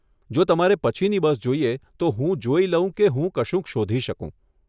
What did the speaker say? જો તમારે પછીની બસ જોઈએ, તો હું જોઈ લઉં કે હું કશુંક શોધી શકું.